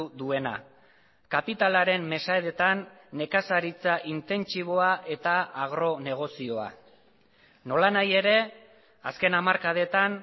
duena kapitalaren mesedetan nekazaritza intentsiboa eta agronegozioa nolanahi ere azken hamarkadetan